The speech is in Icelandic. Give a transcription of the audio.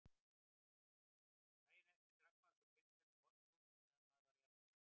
Daginn eftir drakk maður svo pilsner með vodka útí meðan maður var að jafna sig.